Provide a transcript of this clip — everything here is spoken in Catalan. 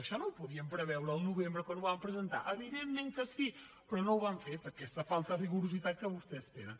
això no ho podien preveure al novembre quan ho van presentar evidentment que sí però no ho van fer per aquesta falta de rigorositat que vostès tenen